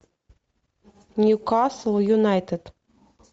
ньюкасл юнайтед